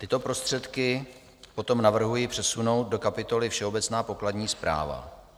Tyto prostředky potom navrhuji přesunout do kapitoly všeobecná pokladní správa.